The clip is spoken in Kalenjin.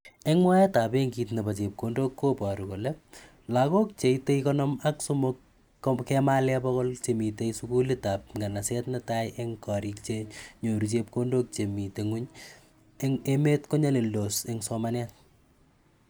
Eng mwaet ab bengut neo nebo chepkondokko baru kole loko che ite konomak semok kemale pokol che mitei sukulit ap nganasit netai eng korik che nyoru chepkondok che mi nguny eng emet konyalilindos eng somanet.